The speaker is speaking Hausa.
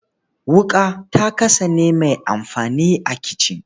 Wuƙa ta kasane mai amfani a kicin.